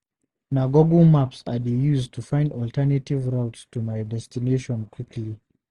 Na Google Maps I dey use to find alternative routes to my destination quickly.